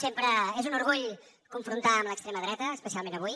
sempre és un orgull confrontar amb l’extrema dreta especialment avui